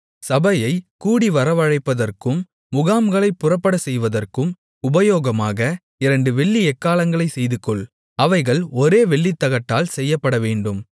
சபையைக் கூடிவரவழைப்பதற்கும் முகாம்களைப் புறப்படச்செய்வதற்கும் உபயோகமாக இரண்டு வெள்ளி எக்காளங்களைச் செய்துகொள் அவைகள் ஒரே வெள்ளித்தகட்டால் செய்யப்படவேண்டும்